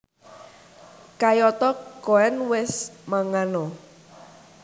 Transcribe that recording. Kayata Koen wis mangan a